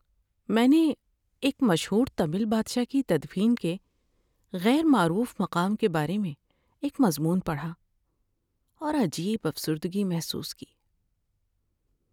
میں نے ایک مشہور تمل بادشاہ کی تدفین کے غیر معروف مقام کے بارے میں ایک مضمون پڑھا اور عجیب افسردگی محسوس کی۔